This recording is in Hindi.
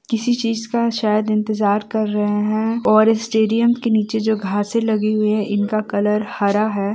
किसी चींज का शायद इंतजार कर रहे हैं और स्टेडियम के नीचे जो घासे लगी हुई हैं इनका कलर हरा है।